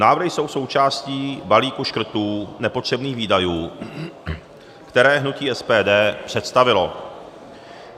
Návrhy jsou součástí balíku škrtů nepotřebných výdajů, které hnutí SDP představilo.